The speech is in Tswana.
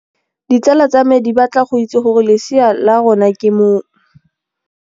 Ditsala tsa me di batla go itse gore lesea la rona ke mong.